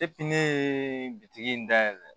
ne ye bitigi in dayɛlɛ